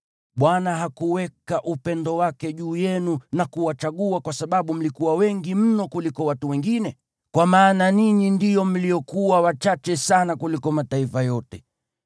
Bwana hakuweka upendo wake juu yenu na kuwachagua kwa sababu mlikuwa wengi mno kuliko watu wengine, kwa maana ninyi ndio mliokuwa wachache sana kuliko mataifa yote.